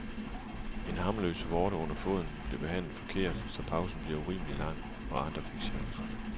En harmløs vorte under foden blev behandlet forkert, så pausen blev urimelig lang, og andre fik chancen.